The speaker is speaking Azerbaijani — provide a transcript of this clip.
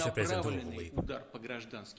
Rusiya prezidenti ümumiləşdirib.